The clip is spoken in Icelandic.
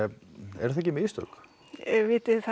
eru það ekki mistök vitiði það